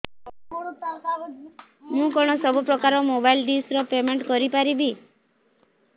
ମୁ କଣ ସବୁ ପ୍ରକାର ର ମୋବାଇଲ୍ ଡିସ୍ ର ପେମେଣ୍ଟ କରି ପାରିବି